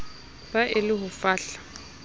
be e le ho fahla